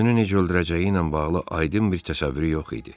Özünü necə öldürəcəyi ilə bağlı aydın bir təsəvvürü yox idi.